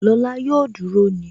Lọ́la yóò duru ni